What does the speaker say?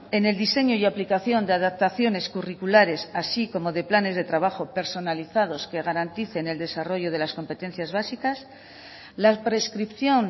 en el diseño y aplicación de adaptaciones curriculares así como de planes de trabajo personalizados que garanticen el desarrollo de las competencias básicas la prescripción